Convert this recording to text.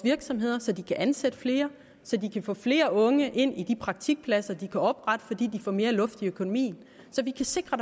virksomheder så de kan ansætte flere så de kan få flere unge ind i de praktikpladser de kan oprette fordi de får mere luft i økonomien og så vi kan sikre